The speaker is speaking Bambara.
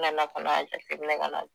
Nana ka n'a jateminɛ ka na